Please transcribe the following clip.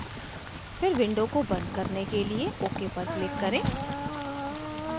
फिर window बंद करने के लिए ok पर click करें